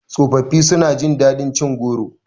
Tsofafi su na jin daɗin cin goro